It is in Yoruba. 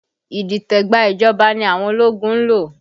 Idite gba ìjọba ní àwọn ológun ń lò